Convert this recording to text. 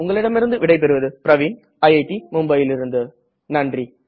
உங்களிடம் இருந்து விடை பெறுவது பிரவின் ஐஐடி மும்பையிலிருந்து நன்றி